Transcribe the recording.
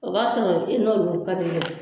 O b'a sɔrɔ e n'olu ka di yɛrɛ